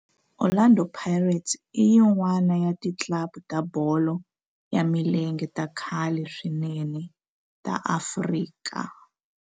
Orlando Pirates i yin'wana ya ti club ta bolo ya milenge ta khale swinene ta Afrika.